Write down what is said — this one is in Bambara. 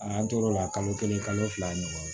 An tor'o la kalo kelen kalo fila ɲɔgɔnna